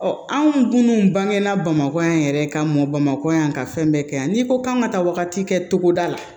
anw minnu bange na bamakɔ yan yɛrɛ ka mɔ bamakɔ yan ka fɛn bɛɛ kɛ yan n'i ko k'an ka taa wagati kɛ togoda la